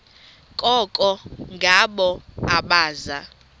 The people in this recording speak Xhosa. koko ngabo abaza